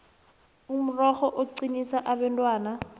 umrorho uqinisa abentwana